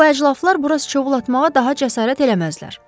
Bu əclafılar bura sıçovul atmağa daha cəsarət eləməzlər.